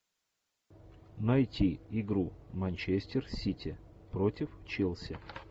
найти игру манчестер сити против челси